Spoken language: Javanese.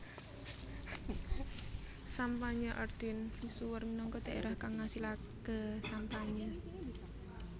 Champagne Ardenne misuwur minangka dhaerah kang ngasilaké sampanye